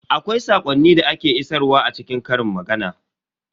Akwai saƙonni da ake isarwa a cikin ƙarin magana.